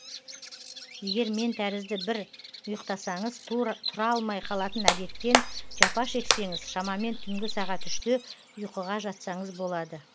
егер мен тәрізді бір ұйықтасаңыз тұра алмай қалатын әдеттен жапа шексеңіз шамамен түнгі сағат үште ұйқыға жатсаңыз болады